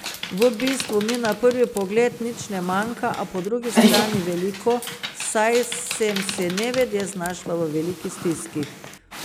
V bistvu mi na prvi pogled nič ne manjka, a po drugi strani veliko, saj sem se nevede znašla v veliki stiski.